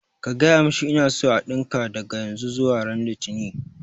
Ka gaya mishi ina so a ɗinka daga yanzu zuwa ran litini